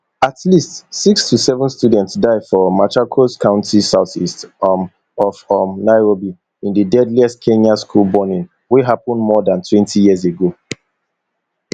at least six to seven student die for machakos county southeast um of um nairobi in di deadliest kenyan school burning wey happun more dan twenty years ago